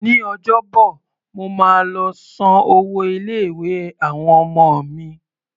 Ní Ọjọ́bọ̀, mo máa lọ san owó ilé-ìwé àwọn ọmọ mi.